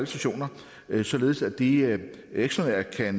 stationer således at de ekstraordinært